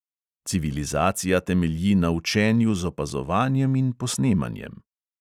Civilizacija temelji na učenju z opazovanjem in posnemanjem.